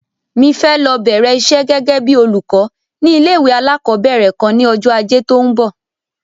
Mi fẹ́ lọ bẹ̀rẹ̀ isẹ́ gẹ́gẹ́ bíi olùkọ́ ní ilé-ìwé alákọ̀ọ́bẹ̀rẹ̀ kan ní ọjọ́ Ajé tó ń bọ̀.